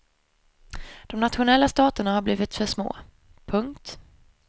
De nationella staterna har blivit för små. punkt